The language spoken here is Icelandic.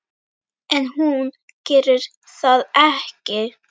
En hún gerir það ekki.